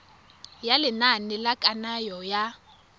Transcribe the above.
ya lenane la kananyo ya